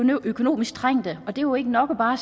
økonomisk trængte og det er jo ikke nok bare